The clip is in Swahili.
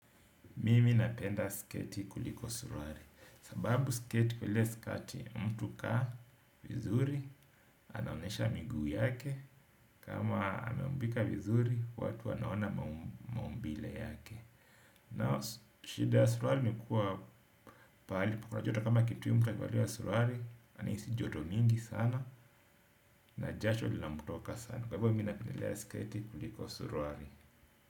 Mimi napenda sketi kuliko suruali. Sababu sketi kule sketi mtu hukaa vizuri. Anaonyesha miguu yake. Kama ameumbika vizuri watu wanaona maumbile yake. Nao shida ya suruali ni kuwa pahali pako na joto kama kitui akivalia surulali. Anahisi joto mingi sana na jasho lilamtoka sana. Kwa hivyo mimi napendelea sketi kuliko suruali.